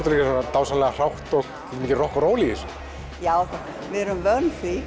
dásamlega hrátt og rokk og ról í þessu já við erum vön því